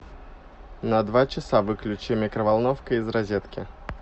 на два часа выключи микроволновка из розетки